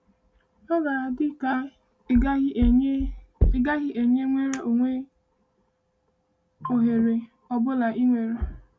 “Ọ ga-adị ka ị gaghị enye ị gaghị enye nnwere onwe ohere ọ bụla ịnwale.”